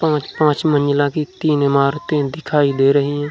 पाँच-पाँच मंजिला की तीन इमारतें दिखाई दे रहीं हैं।